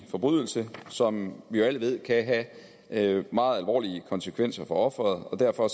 forbrydelse som vi alle ved kan have meget alvorlige konsekvenser for ofret derfor